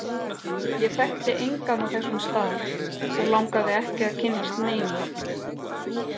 Ég þekkti engan á þessum stað, og langaði ekki að kynnast neinum.